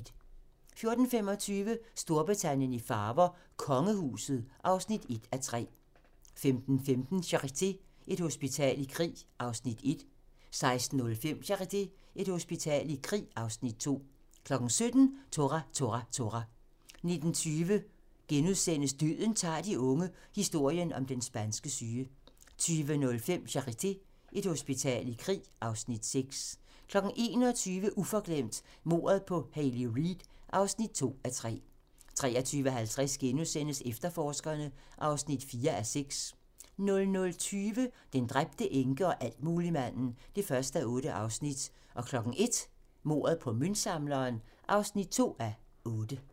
14:25: Storbritannien i farver: Kongehuset (1:3) 15:15: Charité - Et hospital i krig (Afs. 1) 16:05: Charité - Et hospital i krig (Afs. 2) 17:00: Tora! Tora! Tora! 19:20: Døden tager de unge - historien om den spanske syge * 20:05: Charité - Et hospital i krig (Afs. 6) 21:00: Uforglemt: Mordet på Hayley Reid (2:3) 23:50: Efterforskerne (4:6)* 00:20: Den dræbte enke og altmuligmanden (1:8) 01:00: Mordet på møntsamleren (2:8)